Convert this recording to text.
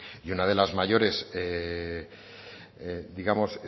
y una de las mayores digamos